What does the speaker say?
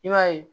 I b'a ye